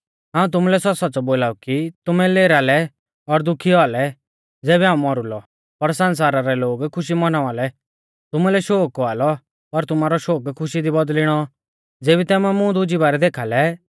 हाऊं तुमुलै सौच़्च़ौसौच़्च़ौ बोलाऊ कि तुमै लेरा लै और दुखी औआ लै ज़ेबी हाऊं मौरु लौ पर सण्सारा रै लोग खुशी मौनावा लौ तुमुलै शोक औआ लौ पर तुमारौ शोक खुशी दी बौदल़िणौ ज़ेबी तुमै मुं दुज़ी बारै देखा लै